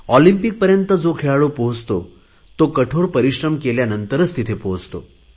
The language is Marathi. ऑलिम्पिकपर्यंत जो खेळाडू पोहचतो तो कठोर परिश्रम केल्यानंतरच तिथे पोहचतो